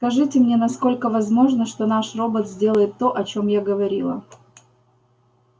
скажите мне насколько возможно что наш робот сделает то о чем я говорила